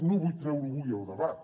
no vull treure ho avui al debat